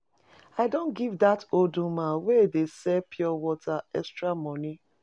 I don give dat old woman wey dey sell pure water extra money.